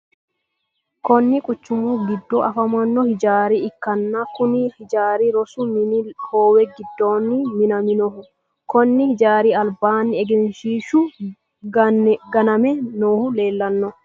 Kunni quchumu gido afamano hijaara ikanna kunni hijaari rosu minni hoowe gidoonni minaminoho konni hijaari albaanni egenshiishu ganame noohu leelano.